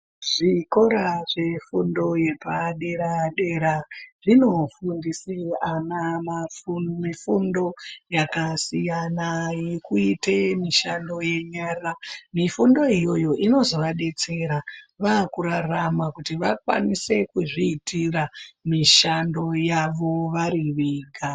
Zvikora zvefundo yepadera-dera, zvinofundise ana fundo yakasiyana yekuite mishando yenyara. Mifundo iyoyo inozovadetsera vaakurarama kuti vakwanise kuzviitira mishando yavo vari vega.